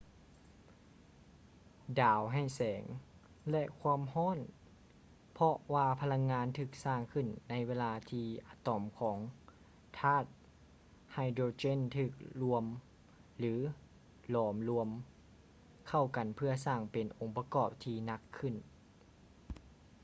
ດາວໃຫ້ແສງ ແລະ ຄວາມຮ້ອນເພາະວ່າພະລັງງານຖືກສ້າງຂຶ້ນໃນເວລາທີ່ອະຕອມຂອງທາດໄຮໂດຼເຈນຖືກລວມ ຫຼື ຫຼອມລວມ ເຂົ້າກັນເພື່ອສ້າງເປັນອົງປະກອບທີ່ໜັກຂຶ້ນ